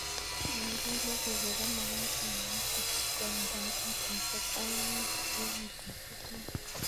ye ikole koko ko magat imete koindoi ab mitaishek aeng' ak nusu akoi mitaishek somok